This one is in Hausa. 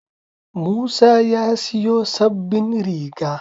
Musa ya siyo sabbin riga.